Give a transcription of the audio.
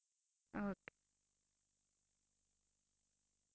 okey